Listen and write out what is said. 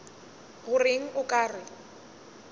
go reng o ka re